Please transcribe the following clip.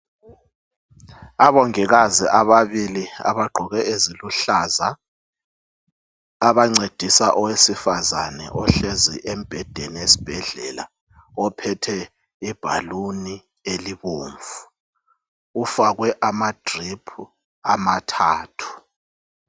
Abongikazi ababili abagqoke eziluhlaza abancedisa owesifazana ohlezi embhedeni esibhedlela ophethe ibhaluni elibomvu. Ifakwe ama drip amathathu.